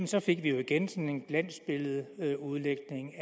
så fik vi igen sådan en glansbilledeudlægning